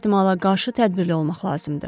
Hər ehtimala qarşı tədbirli olmaq lazımdır.